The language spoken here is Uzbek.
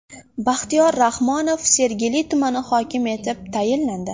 Baxtiyor Rahmonov Sergeli tumani hokimi etib tayinlandi.